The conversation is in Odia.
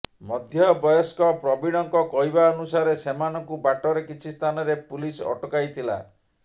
ମଧ୍ୟବୟସ୍କ ପ୍ରବୀଣଙ୍କ କହିବା ଅନୁସାରେ ସେମାନଙ୍କୁ ବାଟରେ କିଛି ସ୍ଥାନରେ ପୁଲିସ ଅଟକାଇଥିଲା